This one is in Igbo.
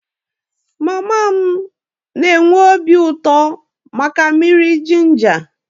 Mama m na-enwe obi uto maka mmiri jinja